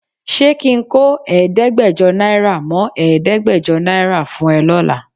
Ṣé ki ń kó ẹ̀ẹ́dẹ́gbẹ́jọ náírà mọ́ ẹ̀ẹ́dẹ́gbẹ̀jọ náírà fún ẹ lọ́la?